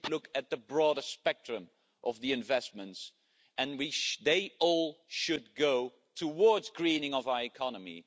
You should look at the broader spectrum of the investments, and they all should go towards greening of our economy.